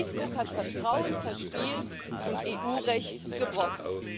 Facebook hat Vertrauen verspielt und EU Recht gebrochen.